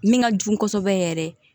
Min ka jugu kosɛbɛ yɛrɛ